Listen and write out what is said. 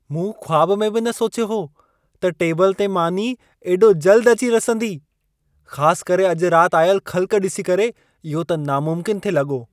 मूं ख़्वाब में बि न सोचियो हो, त टेबल ते मानी एॾो जल्द अची रसंदी। ख़ास करे अॼु राति आयल ख़ल्क़ ॾिसी करे इहो त नामुमकिनु थे लॻो।